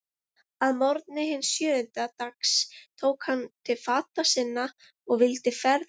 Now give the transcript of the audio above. Að morgni hins sjöunda dags tók hann til fata sinna og vildi ferðbúast.